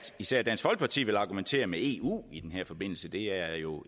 især dansk folkeparti vil argumentere med eu i den her forbindelse det her er jo